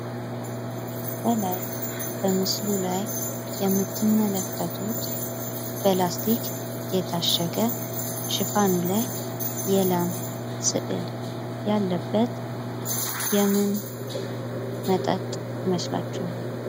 ከላይ በምስሉ ላይ የምትመለከቱት በላስቲክ የታሸገ ሽፋኑ ላይ የላም ምስል ያለበት የምን መጠጥ ይመስላችኋል?